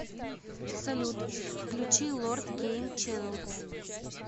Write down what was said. салют включи лорд гейм ченел